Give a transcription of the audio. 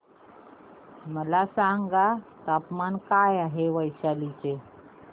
मला सांगा तापमान काय आहे वैशाली चे